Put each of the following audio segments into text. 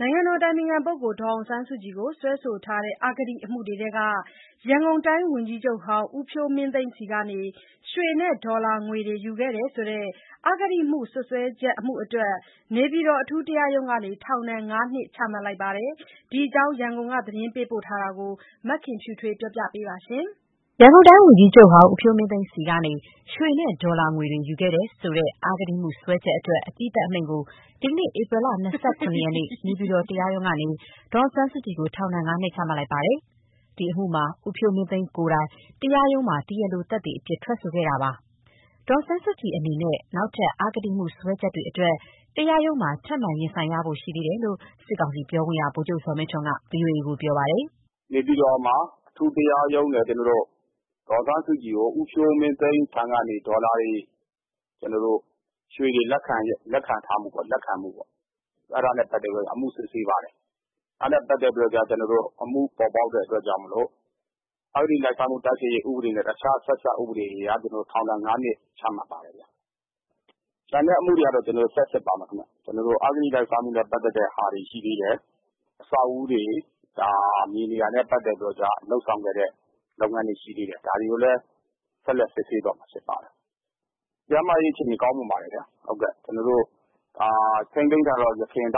နိုင်ငံတော်အတိုင်ပင်ခံပုဂ္ဂိုလ်ဒေါ်အောင်ဆန်းစုကြည်ကိုစွဲဆိုထားတဲ့ အဂတိအမှုတွေထဲက ရန်ကုန်တိုင်းဝန်ကြီးချုပ်ဟောင်း ဦးဖြိုးမင်းသိန်းဆီကနေ ရွှေနဲ့ဒေါ်လာငွေတွေယူခဲ့တယ်ဆိုတဲ့အဂတိ စွပ်စွဲချက်အမှုအတွက် နေပြည်တော်အထူးတရားရုံးကနေ ထောင်ဒဏ် ၅ နှစ်ချမှတ်လိုက်ပါတယ်။ ဒီအကြောင်း ရန်ကုန်က သတင်းပေးပို့ထားတာကို မခင်ဖြူထွေးက တင်ပြပေးထားပါတယ်။ ရန်ကုန်တိုင်းဝန်ကြီးချုပ်ဟောင်း ဦးဖြိုးမင်းသိန်းဆီကနေ ရွှေနဲ့ဒေါ်လာငွေတွေ ယူခဲ့တယ်ဆိုတဲ့ အဂတိမှုစွဲချက်အတွက် အပြီးသတ်အမိန့်ကို ဒီနေ့ ဧပြီလ ၂၇ ရက်နေ့ နေပြည်တော်တရားရုံးကနေ ဒေါ်အောင်ဆန်းစုကြည်ကို ထောင်ဒဏ် ၅ နှစ်ချမှတ်လိုက်တာပါ။ ဒီအမှုမှာ ဦးဖြိုးမင်းသိန်းကိုယ်တိုင် တရားရုံးမှာ တရားလိုသက်သေအဖြစ် ထွက်ဆိုခဲ့တာပါ။ ဒေါ်အောင်ဆန်းစုကြည်အနေနဲ့ နောက်ထပ် အဂတိမှုစွဲချက်တွေအတွက် တရားရုံးမှာ ထပ်မံရင်ဆိုင်ရဖို့ရှိသေးတယ်လို့ စစ်ကောင်စီ ပြောခွင့်ရသူ ဗိုလ်ချုပ်ဇော်မင်းထွန်းက ဗွီအိုအေကို ပြောပါတယ်။ “နေပြည်တော်အထူးတရားရုံးမှာ ဒေါ်အောင်ဆန်းစုကြည်ကို ဦးဖြိုးမင်းသိန်းဆီက ရွှေနဲ့ ဒေါ်လာတွေ ရယူမှုပေါ့။ အဲဒ့ါနဲ့ပတ်သက်ပြီး အမှုစစ်ဆေးပါတယ်။ အမှုပေါ်ပေါက်တဲ့အတွက်ကြောင့်မို့ အဂတိတိုက်စားမှုနဲ့ တခြားဆက်စပ်ဥပဒေအရ ထောင်ဒဏ် ၅ နှစ်ချမှတ်ပါတယ်။ ကျန်တဲ့အမှုတွေဆက်စစ်ပါမယ်။ အဂတိလိုက် စားမှုနဲ့ပတ်သက်တာတွေရှိသေးတယ်။ နောက် အဆောက်အဦးတွေ၊မြေတွေနဲ့ပတ်သက်တာတွေ ရှိသေးတယ်။ ဒါတွေကိုလည်း ဆက်လက်စစ်ဆေးမှာဖြစ်ပါတယ်။ ကျန်းမာရေးအခြေအနေကောင်းပါတယ်။ ကျနော်တို့ ထိန်းသိမ်းထားတဲ့ အရင်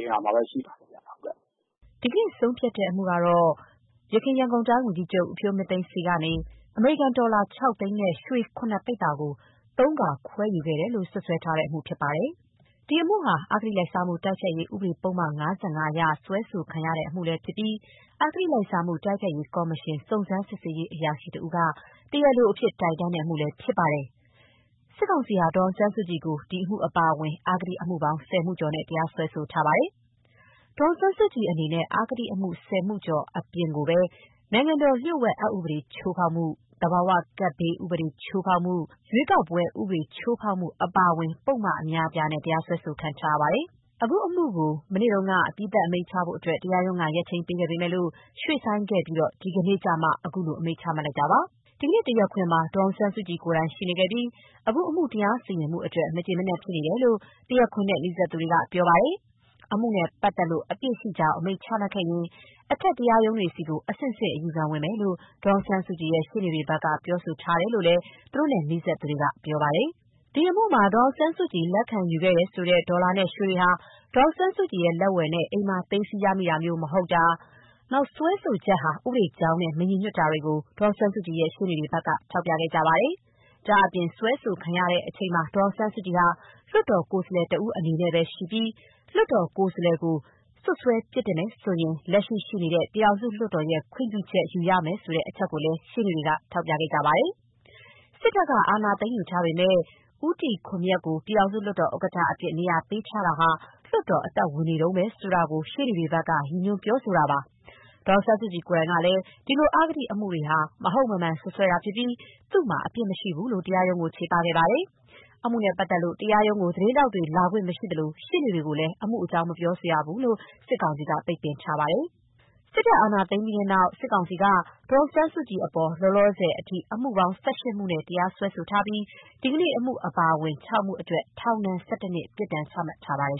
နေရာမှာပဲ ရှိနေပါတယ်။” ဒီနေ့ ဆုံးဖြတ်တဲ့အမှုကတော့ ယခင် ရန်ကုန်တိုင်းဝန်ကြီးချုပ် ဦးဖြိုးမင်းသိန်းဆီ ကနေ အမေရိကန် ဒေါ်လာ ၆ သိန်းနဲ့ ရွှေ ၇ ပိဿာကို ၃ ခါ ခွဲယူခဲ့တယ်လို့ စွပ်စွဲထားတဲ့အမှု ဖြစ်ပါတယ်။ ဒီအမှုဟာ အဂတိလိုက်စားမှု တိုက်ဖျက်ရေးဥပဒေ ပုဒ်မ ၅၅ အရ စွဲဆိုခံရတဲ့အမှုလည်းဖြစ်ပြီး အဂတိလိုက်စားမှု တိုက်ဖျက်ရေးကော်မရှင်စုံစမ်းရေးအရာရှိတဦးက တရားလိုအဖြစ်တိုင်တန်းတဲ့အမှုလည်း ဖြစ်ပါတယ်။ စစ်ကောင်စီဟာ ဒေါ်အောင်ဆန်းစုကြည်ကို ဒီအမှုအပါအဝင် အဂတိအမှုပေါင်း ၁၀ မှုကျော်နဲ့ တရားစွဲဆိုခဲ့ပါတယ်။ ဒေါ်အောင်ဆန်းစုကြည်အနေနဲ့ အဂတိအမှု ၁၀ မှုကျော်အပြင် နိုင်ငံတော်လျှို့ဝှက် အက်ဥပဒေချိုးဖောက်မှု၊ သဘာဝကပ်ဘေးဥပဒေ ချိုးဖောက်မှု၊ ရွေးကောက်ပွဲဥပဒေချိုးဖောက်မှု အပါအဝင် ပုဒ်မအများအပြားနဲ့ တရားစွဲဆိုခံထားရပါတယ်။ အခုအမှုကို မနေ့တုန်းက အပြီးသတ်အမိန့်ချဖို့အတွက် တရားရုံးက ရက်ချိန်းပေးခဲ့ပေမယ့်၊ ရွေ့ဆိုင်းခဲ့ပြီးမှ ဒီကနေ့ အခုလို အမိန့်ချလိုက်တာပါ။ ဒီကနေ့ တရားခွင်မှာ ဒေါ်အောင်ဆန်းစုကြည်ကိုယ်တိုင်ရှိနေပြီး အခုအမှုတရားစီရင်မှုအတွက် မကျေမနပ်ဖြစ်နေတယ်လို့ တရားခွင်နဲ့နီးစပ်သူတွေက ပြောပါတယ်။ အမှုနဲ့ပတ်သတ်လို့ အပြစ်ရှိကြောင်း အမိန့်ချမှတ်ခဲ့ရင် အထက်တရား ရုံးတွေဆီ အဆင့်ဆင့် အယူခံဝင်မယ်လို့ ဒေါ်အောင်ဆန်းစုကြည်ရှေ့နေတွေဘက်ကပြောဆိုထားတယ်လို့ သူတို့နဲ့ နီးစပ်သူ တွေကပြောပါတယ်။ ဒီအမှုမှာ ဒေါ်အောင်ဆန်းစုကြည်လက်ခံယူတယ်ဆိုတဲ့ ဒေါ်လာနဲ့ရွှေတွေဟာ ဒေါ်အောင်ဆန်းစုကြည်လက်ဝယ်နဲ့ အိမ်မှာ သိမ်းဆည်းရမိတာမဟုတ်တာ၊ စွဲဆိုချက်ဟာ ဥပဒေကြောင်းနဲ့မညီညွတ်တာတွေကို ဒေါ်အောင်ဆန်းစုကြည်ရဲ့ ရှေ့နေတွေဘက်က ထောက်ပြခဲ့ပါတယ်။ ဒါ့အပြင် စွဲဆိုခံရမှုအချိန်မှာ ဒေါ်အောင်ဆန်းစုကြည်ဟာ လွှတ်တော်ကိုယ်စားလှယ်တဦးအနေနဲ့ပဲ ရှိပြီး လွှတ်တော်ကိုယ်စားလှယ်ကို စွပ်စွဲပြစ်တင်မယ်ဆိုရင် လက်ရှိ ရှိနေတဲ့ ပြည်ထောင်စုလွှတ်တော် ခွင့်ပြုချက်ယူရမယ်ဆိုတဲ့အချက်ကိုလည်း ရှေ့နေတွေက ထောက်ပြခဲ့ပါတယ်။ စစ်တပ်က အာဏာသိမ်းယူထားပေမယ့် ဦးတီခွန်မြတ်ကို ပြည်ထောင်စုလွှတ်တော်ဥက္ကဋ္ဌအဖြစ် နေရာပေးထားတာဟာ လွှတ်တော်အသက်ဝင်နေတုန်းပဲဆိုတာကို ရှေ့နေတွေဘက်က ရည်ညွှန်းတာပါ။ ဒေါ်အောင်ဆန်းစုကြည်ကိုယ်တိုင်ကလည်း ဒီလို အဂတိအမှုတွေဟာ မဟုတ်မမှန်စွပ်စွဲတာဖြစ်ပြီး သူမှာအပြစ်မရှိဘူးလို့ တရားရုံးကို ချေပခဲ့ပါတယ်။ အမှုနဲ့ပတ်သက်လို့ တရားရုံး ကို သတင်းထောက်တွေ လာခွင့်မရှိသလို ရှေ့နေတွေကိုလည်း အမှုအကြောင်း မပြောဆိုရလို့ စစ်ကောင်စီက ပိတ်ပင်ထားပါတယ်။ စစ်တပ် အာဏာသိမ်းခဲ့ပြီးနောက် စစ်ကောင်စီက ဒေါ်အောင်ဆန်းစုကြည်အပေါ် လောလောဆယ်အထိ အမှုပေါင်း ၁၈ မှုနဲ့ တရားစွဲခဲ့ပြီး ဒီကနေ့အမှုအပါအဝင် ၆ မှုအတွက် ထောင်ဒဏ် ၁၁ နှစ် ပြစ်ဒဏ် ချမှတ်ထားပါတယ်